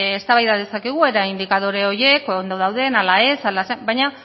bueno eztabaida dezakegu ea indikadore horiek ondo dauden ala ez ala zer baina